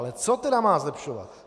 Ale co tedy má zlepšovat?